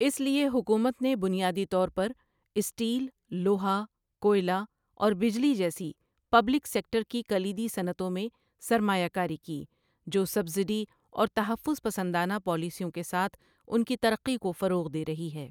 اس لیے حکومت نے بنیادی طور پر اسٹیل، لوہا، کوئلہ اور بجلی جیسی پبلک سیکٹر کی کلیدی صنعتوں میں سرمایہ کاری کی، جو سبسڈی اور تحفظ پسندانہ پالیسیوں کے ساتھ ان کی ترقی کو فروغ دے رہی ہے۔